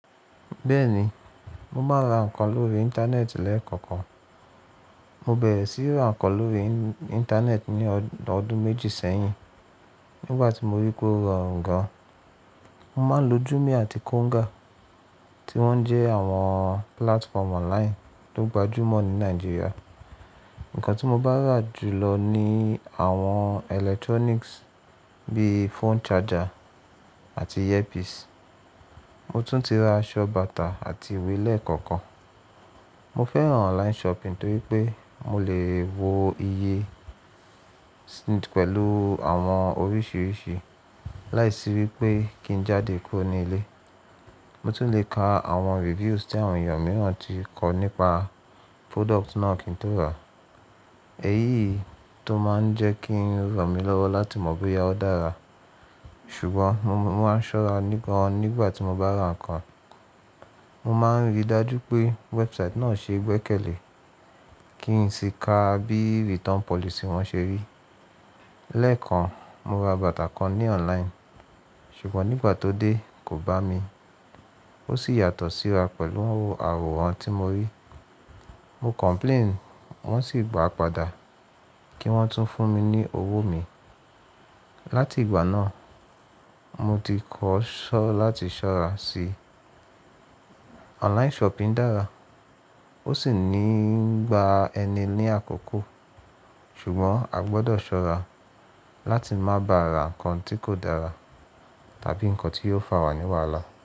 Bẹ́ẹ̀ni, mo máa ń ra ǹkan lórí Íńtánẹ́ẹ̀tì lẹ́ẹ̀kọ̀kan. Mo bẹ̀rẹ̀ síí ra ǹkan lórí Íńtánẹ́ẹ̀tì ní ọdún méjì sẹ́yìn nígbà tí mo rí pé ó rọrùn gan. Mo máa ń lo Jumia àti Konga tí wọ́n jẹ́ àwọn platform online tó gbajúmọ̀ ní Nàìjíríà. Ǹkan tí mo bá rà jù lọ ni àwọn electronics bíi phone charger àti earpiece. Mo tún ti ra aṣọ, bàtà àti ìwé lẹ́ẹ̀kọ̀kan. Mo fẹ́ràn online shopping torí pé mo lè wo iye pẹ̀lú àwọn oríṣìíríṣìí láìsí wí pé kí n jáde kúrò ní ilé. Mo tún lè ka àwọn reviews tí àwọn èèyàn mìíràn ti kọ nípa product náà kí n tó rà á. Èyí tó máa ń jẹ́ kí ń ranmí lọ́wọ́ láti mọ̀ bóyá ó dára. Ṣùgbọ́n mo máa ń ṣọ́ra ní gan nígbà tí mo bá ra ǹkan. Mo máa ń rí i dájú pé website náà ṣe gbẹ́kẹ̀lé, kí n sì ka bí return policy wọn ṣe rí. Lẹ́ẹ̀kan, mo ra bàtà kan ní online, ṣùgbọ́n nígbà tó dé kò bá mi. Ó sì yàtọ̀ síra pẹ̀lú àwọ̀ran tí mo rí. Mo complain, wọ́n sì gba padà kí wọ́n tún fún mi ní owó mi. Láti ìgbà náà, mo ti kọ́ ṣọ́ láti ṣọ́ra si. Online shopping dára, ó sì ní ń gba ẹni ní àkókò, ṣùgbọ́n a gbọdọ̀ ṣọ́ra láti má ba ra ǹkan tí kò dára tàbí ǹkan tí yóò fà wà ní wàhálà.